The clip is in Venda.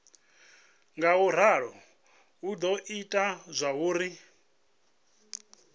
ngauralo hu do ita zwauri